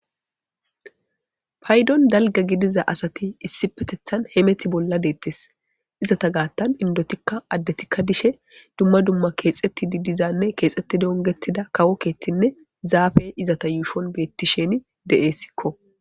Paydon dalga gidiza asati issi petethan hemeti bolla deettes izata gaattan indotikka addetikka dishe dumma dumma keexetti didizanne keexetti dongetida kawo keetinne zaafey izata yuushon beetti sheni de7essikko